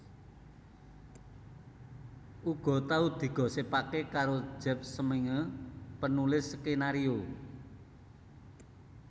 Uga tau digosipaké karo Jeff Smeenge penulis skenario